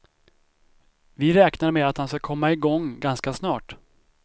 Vi räknar med att han ska komma igång ganska snart.